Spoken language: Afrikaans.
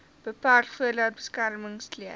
beperk voordat beskermingsklere